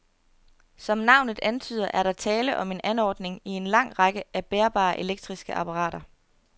Som navnet antyder, er der tale om en anordning i en lang række af bærbare elektriske apparater.